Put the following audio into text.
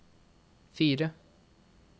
fire